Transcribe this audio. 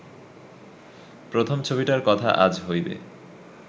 প্রথম ছবিটার কথা আজ হইবে